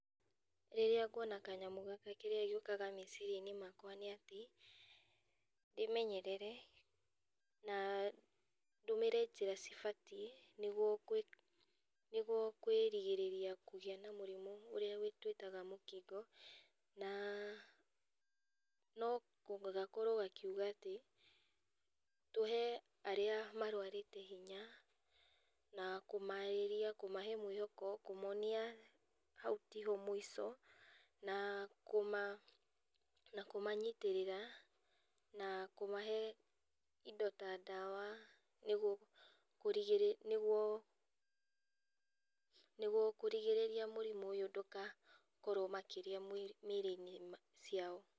Rĩrĩa nguona kanyamũ gaka kĩrĩa gĩũkaga meciria-inĩ makwa nĩ atĩ ndĩmenyerere na ndũmĩre njĩra cibatiĩ nĩguo kwĩrigĩrĩria kũgĩa na mũrimũ ũrĩa twĩtaga mũkingo. Na nogakorwo gakiuga atĩ tũhe arĩa marwarĩte hinya na kũmarĩria, kũmahe mwĩhoko, kũmonia hau tiho mũico, na kũmanyitĩrĩra na kũmahe indo ta ndawa nĩguo kũrigĩrĩria mũrimũ ũyũ ndũkakorwo makĩria mĩrĩ-inĩ ciao.